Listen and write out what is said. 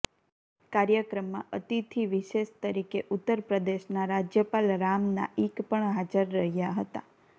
કાર્યક્રમમાં અતિથિ વિશેષ તરીકે ઉત્તરપ્રદેશના રાજ્યપાલ રામ નાઈક પણ હાજર રહ્યાં હતા